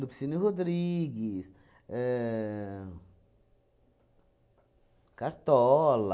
Lupicínio Rodrigues... ahn Cartola...